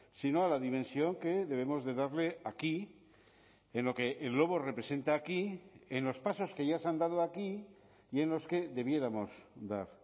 sino a la dimensión que debemos de darle aquí en lo que el lobo representa aquí en los pasos que ya se han dado aquí y en los que debiéramos dar